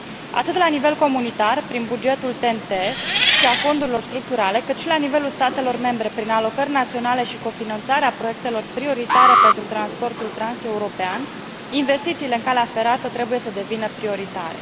Atât la nivel comunitar, prin bugetul TEN T și a fondurilor structurale, cât și la nivelul statelor membre prin alocări naționale și cofinanțarea proiectelor prioritare pentru transportul transeuropean, investițiile în calea ferată trebuie să devină prioritare.